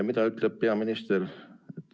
Mida ütleb peaminister?